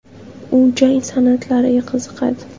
U jang san’atlariga qiziqadi.